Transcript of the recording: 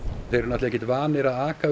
þeir eru ekkert vanir að aka við